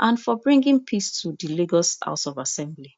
and for bringing peace to di lagos state house of assembly